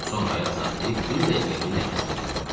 Sonra ayaq saxlayıb bir dəqiqəliyə nəfəsimi dərdəm.